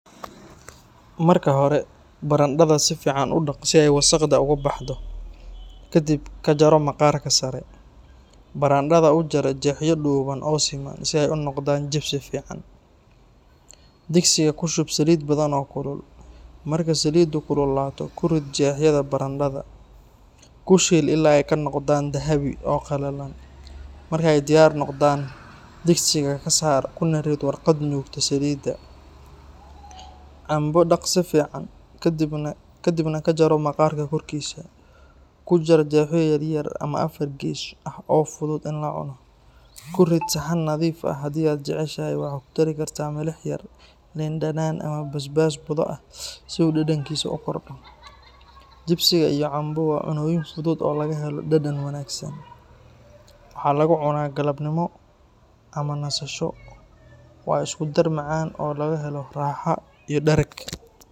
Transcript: Marka hore, barandhada si fiican u dhaq si ay wasakhda uga baxdo. Ka dib ka jaro maqaarka sare. Barandhada u jar jeexyo dhuuban oo siman, si ay u noqdaan jipsi fiican. Digsiga ku shub saliid badan oo kulul, marka saliidu kululaato ku rid jeexyada barandhada. Ku shiil ilaa ay ka noqdaan dahabi ah oo qallalan. Markay diyaar noqdaan, digsiga ka saar kuna rid warqad nuugta saliidda. Cambo dhaq si fiican, kadibna ka jaro maqaarka korkiisa. Ku jar jeexyo yaryar ama afar gees ah oo fudud in la cuno. Ku rid saxan nadiif ah. Haddii aad jeceshahay, waxaad ku dari kartaa milix yar, liin dhanaan, ama basbaas budo ah si uu dhadhankiisu u kordho. Jipsiga iyo cambo waa cunnooyin fudud oo laga helo dhadhan wanaagsan. Waxaa lagu cunaa galabnimo ama nasasho. Waa isku dar macaan oo laga helo raaxo iyo dhereg